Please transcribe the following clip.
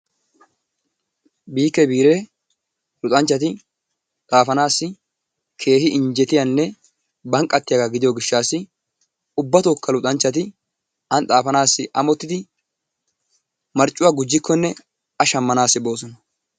Biikee biiree luxanchchati xafanaasi keehi injjetiyanne banqqatiyagaa gidiyo gishshaassi ubbatooka luxanchchati an xaafanaassi amottidi marccuwaa gujjikkonne a shammanaassi boossona.